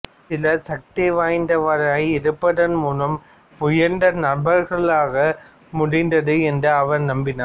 சிலர் சக்தி வாய்ந்தவராய் இருப்பதன் மூலம் உயர்ந்த நபர்களாக ஆக முடிந்தது என்று அவர் நம்பினார்